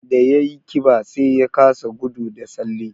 Da ya yi ƙiba, sai ya kasa gudu da tsalle